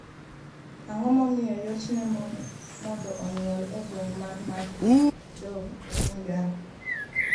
Ang'o momiyo yot ne mon mondo onyuol e gweng' mar Mafi Dove e piny Ghana?